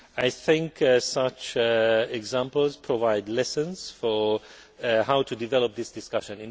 I think such examples provide lessons for how to develop this discussion.